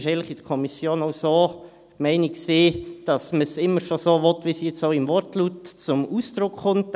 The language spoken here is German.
Es war in der Kommission eigentlich auch die Meinung, dass man es immer schon so wollte, wie es jetzt auch im Wortlaut zum Ausdruck kommt.